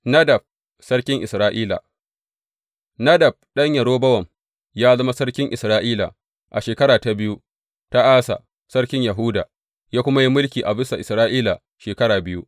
Nadab sarkin Isra’ila Nadab ɗan Yerobowam ya zama sarkin Isra’ila a shekara ta biyu ta Asa sarkin Yahuda, ya kuma yi mulki a bisa Isra’ila shekara biyu.